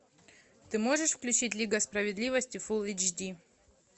ты можешь включить лига справедливости фул эйч ди